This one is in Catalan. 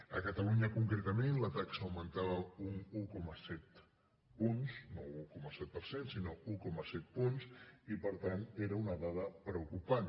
a catalunya concretament la taxa augmentava un coma set punts no un un coma set per cent sinó un coma set punts i per tant era una dada preocupant